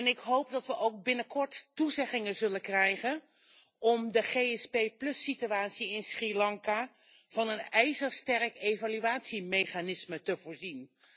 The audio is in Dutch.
Ik hoop dat we binnenkort ook toezeggingen zullen krijgen om de SAP plus situatie in Sri Lanka van een ijzersterk evaluatiemechanisme te voorzien.